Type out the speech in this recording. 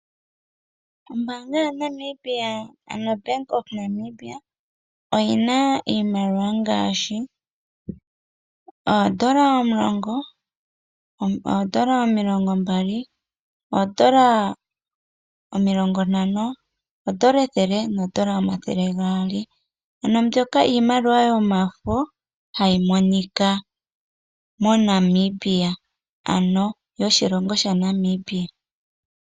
Ombaanga yaNamibia, ano Bank of Namibia oyi na iimaliwa ngaashi: oodola omulongo, oodola omilongombali, oodola omilongontano, oodola ethele noodola omathele gaali. Mbyoka iimaliwa yomafo hayi monika moNamibia, ano yoshilongo shaNamibia.